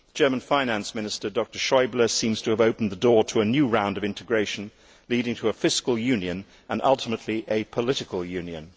The German finance minister, Dr Schäuble seems to have opened the door to a new round of integration leading to a fiscal union and, ultimately, a political union.